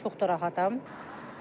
Çox da rahatam.